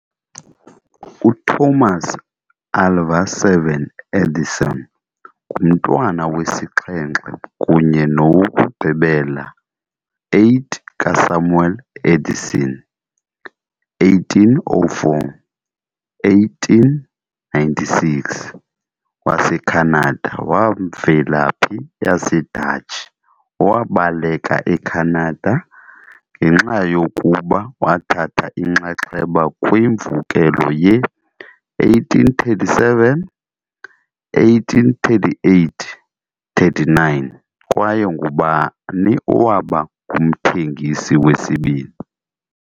UThomas Alva7 Edison ngumntwana wesixhenxe kunye nowokugqibela 8 kaSamuel Edison, 1804-1896, waseKhanada wamvelaphi yaseDatshi, owabaleka eCanada ngenxa yokuba wathatha inxaxheba kwimvukelo ye-1837-1838 - 39 kwaye ngubani owaba ngumthengisi wesibini.